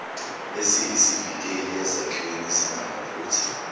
esiyisivikeli ezakhiweni ezinamaphutha